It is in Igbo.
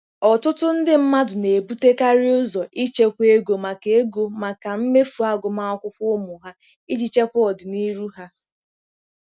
Ọtụtụ ndị mmadụ na-ebutekarị ụzọ ichekwa ego maka ego maka mmefu agụmakwụkwọ ụmụ ha iji chekwa ọdịnihu ha.